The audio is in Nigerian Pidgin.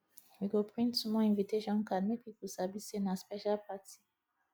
we go print small invitation card make people sabi say na special party